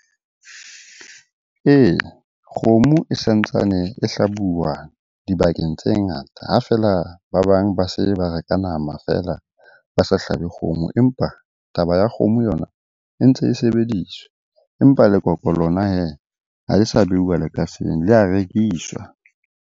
Ee, kgomo e sa ntsane e hlabuwa dibakeng tse ngata ha feela ba bang ba se ba reka nama feela ba sa hlabe kgomo. Empa taba ya kgomo yona e ntse e sebediswa, empa lekoko lona hee ha e sa beuwa lekaseng, le a rekiswa.